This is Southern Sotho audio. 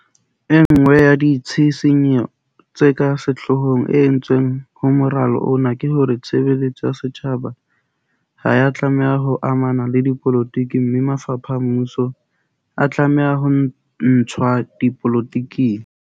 E nngwe ya ditshisinyo tse ka sehlohong e entsweng ho moralo ona ke hore tshebe letso ya setjhaba ha ya tla meha ho amana le dipolotiki mme mafapha a mmuso a tlameha ho ntshwa dipolo tiking.